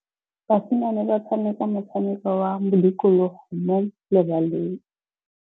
Basimane ba tshameka motshameko wa modikologô mo lebaleng.